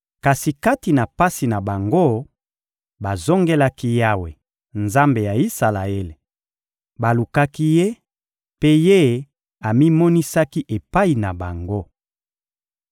Kasi kati na pasi na bango, bazongelaki Yawe, Nzambe ya Isalaele; balukaki Ye, mpe Ye amimonisaki epai na bango.